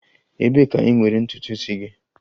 Ebee ka ị nwere ntutu isi gị?